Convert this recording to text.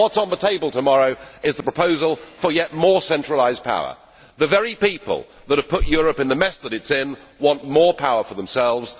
Yet, what is on the table tomorrow is the proposal for yet more centralised power! The very people that have put Europe in the mess that it is in want more power for themselves.